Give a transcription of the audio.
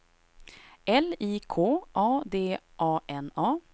L I K A D A N A